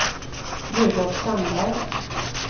Rudolf Sandberg